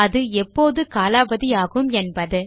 அது எப்போது காலாவதி ஆகும் என்பது